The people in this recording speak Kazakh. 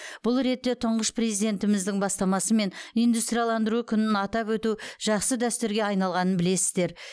бұл ретте тұңғыш президентіміздің бастамасымен индустрияландыру күнін атап өту жақсы дәстүрге айналғанын білесіздер